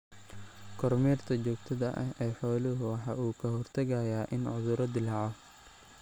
Kormeerka joogtada ah ee xooluhu waxa uu ka hortagayaa in cudurro dillaaco.